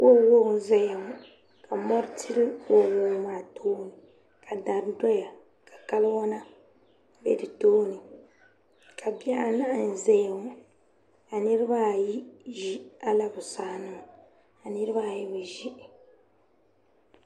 waɔwaɔ n-zaya ŋɔ ka mɔri tili waɔwaɔ maa tooni ka dari doya ka kawana be di tooni ka bih' anahi n-zaya ŋɔ ka niriba ayi ʒi alabusaa nima ka niriba ayi bi ʒi